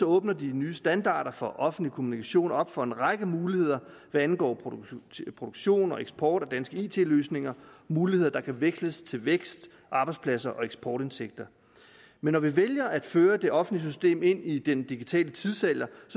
åbner de nye standarder for offentlig kommunikation op for en række muligheder hvad angår produktion og eksport af danske it løsninger muligheder der kan veksles til vækst arbejdspladser og eksportindtægter men når vi vælger at føre det offentlige system ind i den digitale tidsalder